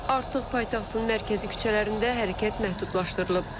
Artıq paytaxtın mərkəzi küçələrində hərəkət məhdudlaşdırılıb.